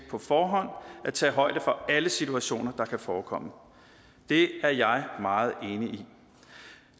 at tage højde for alle situationer der kan forekomme det er jeg meget enig